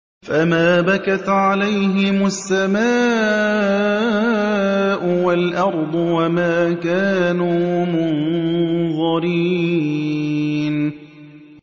فَمَا بَكَتْ عَلَيْهِمُ السَّمَاءُ وَالْأَرْضُ وَمَا كَانُوا مُنظَرِينَ